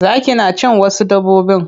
Zaki na cin wasu dabbobin.